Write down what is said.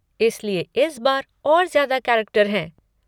इसलिए इस बार और ज्यादा कैरेक्टर हैं।